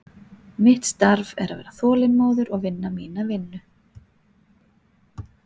Mitt starf er að vera þolinmóður og vinna mína vinnu.